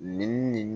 Nin nin